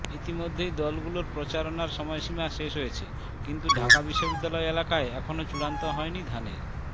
ইতিমধ্যেই দলগুলোর প্রচারণার সময়সীমা শেষ হয়েছে কিন্তু ঢাকা বিশ্ববিদ্যালয় এলাকায় এখনো চূড়ান্ত হয়নি ধানের